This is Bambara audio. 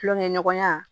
Kulonkɛɲɔgɔnya